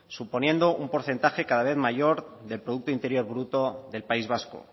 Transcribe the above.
suponiendo un porcentaje cada vez mayor del producto interior bruto del país vasco